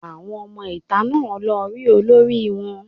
Àwọn ọmọ ìta náà lọ rí olórí wọn